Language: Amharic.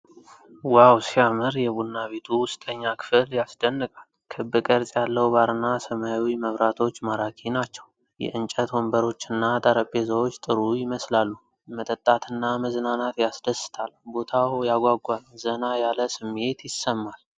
ዋው ሲያምር! የቡና ቤቱ ውስጠኛ ክፍል ያስደንቃል። ክብ ቅርጽ ያለው ባርና ሰማያዊ መብራቶች ማራኪ ናቸው። የእንጨት ወንበሮችና ጠረጴዛዎች ጥሩ ይመስላሉ። መጠጣትና መዝናናት ያስደስታል። ቦታው ያጓጓ። ዘና ያለ ስሜት ይሰማል።